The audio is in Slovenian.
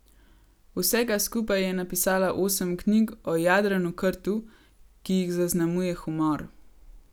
Vsega skupaj je napisala osem knjig o Jadranu Krtu, ki jih zaznamuje humor.